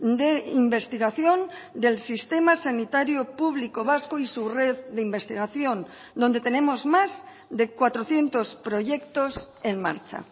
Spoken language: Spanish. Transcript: de investigación del sistema sanitario público vasco y su red de investigación donde tenemos más de cuatrocientos proyectos en marcha